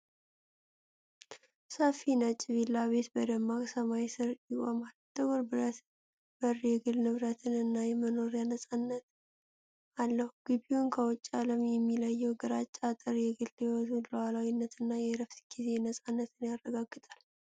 ሰፊ ነጭ ቪላ ቤት በደማቅ ሰማይ ስር ይቆማል። ጥቁር ብረት በር የግል ንብረትን እና የመኖሪያን ነፃነት አለው። ግቢውን ከውጪው ዓለም የሚለየው ግራጫ አጥር የግል ሕይወትን ሉዓላዊነትና የዕረፍት ጊዜ ነፃነትን ያረጋግጣል።